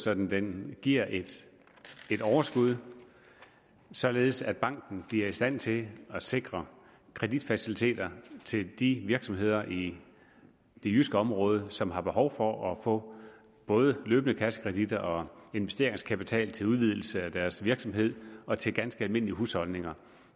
så den giver et overskud således at banken bliver i stand til at sikre kreditfaciliteter til de virksomheder i det jyske område som har behov for at få både løbende kassekreditter og investeringskapital til udvidelse af deres virksomhed og til ganske almindelige husholdninger